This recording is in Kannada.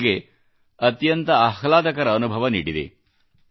ಇದು ನನಗೆ ಅತ್ಯಂತ ಆಹ್ಲಾದಕರ ಅನುಭವ ನೀಡಿದೆ